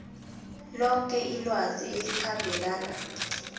loke ilwazi elikhambelana